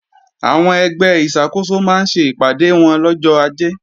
Àwọn ẹgbẹ́ ìṣàkóso máa ṣe ìpàdé wọn lọ́jọ́ Ajé